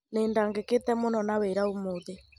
Nĩ ndagĩkĩte mũno na wĩra umũthĩ.